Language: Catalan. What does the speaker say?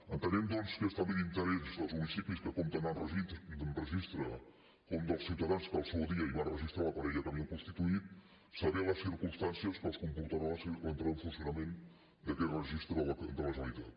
entenem doncs que és també d’interès dels municipis que compten amb registres com dels ciutadans que al seu dia hi van registrar la parella que havien constituït saber les circumstàncies que els comportarà l’entrada en funcionament d’aquest registre de la generalitat